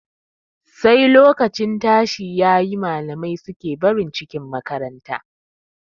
Sai lokacin tashi yayi, malamai suke barin cikin makaranta.